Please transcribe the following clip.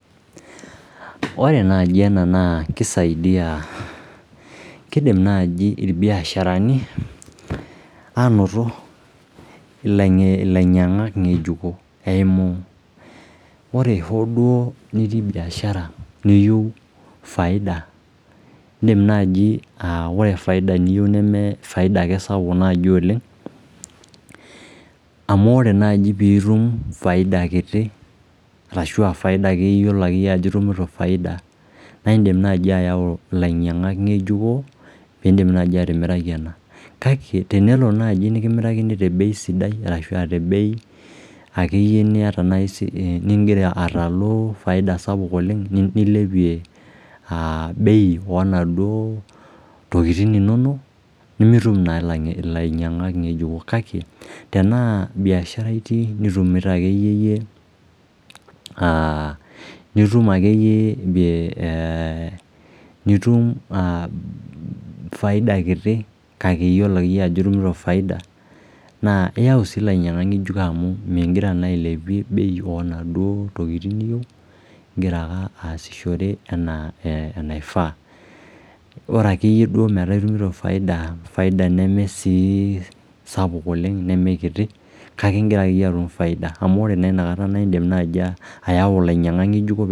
Ore naaji ena naa keisaidia, keidim naaji lbiasharani aanoto lainyang'ak ng'ejuko eimu, ore duo nitii biashara niyeu efaida niindim naaji aa ore efaida niyeu nemee faida sapuk naaji oleng amu oree naaji piitum faida kiti ashu aafaida ake iyolo ajo itumuto faida naa indim naaji ayau lainyang'ak ng'ejuko poiindim naaji atimiraki ena kake tenelo naaji niimirakini te bei sidai arashu te bei ake iye nieta nigira srslu [cd]faida sapuk oleng nileoie bei oonaduo tokitin inono nimitum naa lainyangak ng'ejuko kake tenaa biashara itii nitumuto ake iye nitum faida kitii kake iyolo iyie ajo itumuto faida naa iayu sii lainyangak ng'ejuko amuu igira naa ailepie bei oonaduo tokitin niyeu, igira naa aasishore anaa enaifaa, ore ake duo iyie metaa itumuto faida nemee sii sapuk oleng nemee kiti kake igira ake iyie atum faida amu ore naa inakata naa indim ayau lainyangak ng'ejuko.